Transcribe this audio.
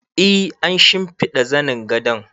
E, an shimfiɗa zanin gadon